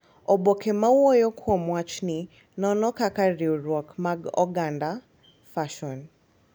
Oboke ma wuoyo kuom wachni nono kaka riwruok mag oganda, fason,